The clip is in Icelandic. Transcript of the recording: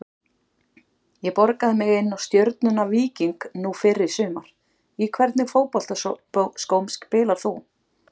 ég borgaði mig inná stjörnuna- víking nú fyrr í sumar Í hvernig fótboltaskóm spilar þú?